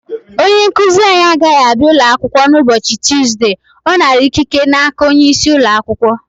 Onye nkuzi anyị agaghị abịa ụlọ akwụkwọ n' ụbọchị Tụzde ọ nara ikike n'aka onye isi ụlọ akwụkwọ